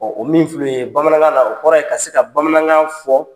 o min filɛ nin ye, bamanankan la. o kɔrɔ ye ka se ka bamanankan fɔ